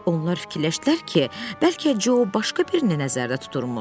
Onlar fikirləşdilər ki, bəlkə Co başqa birini nəzərdə tuturmuş.